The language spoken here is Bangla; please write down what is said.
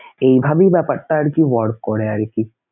এইভাবেই ব্যাপারটা আরকি work করে আরকি.